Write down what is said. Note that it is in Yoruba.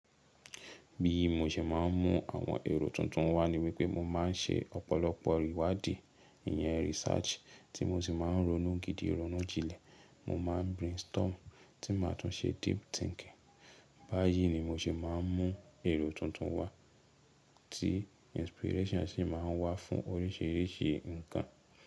Bí mo ṣe máa ń mú àwọn èrò tuntun wá ni wípé mo máa ń ṣe ọ̀pọ̀lọpọ̀ ìwádìí, ìyẹn research tí mo sì máa ń ronú gidi ronú jilẹ̀, mo máa ń brainstorm tí màá tún ṣe deep thinking. Báyìí ni mo ṣe máa ń mú èrò tuntun wá tí inspiration ṣe máa ń wá fún oríṣìíríṣìí ǹkan.